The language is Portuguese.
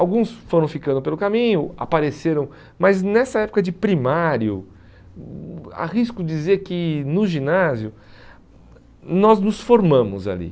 Alguns foram ficando pelo caminho, apareceram, mas nessa época de primário, arrisco hum dizer que no ginásio, nós nos formamos ali.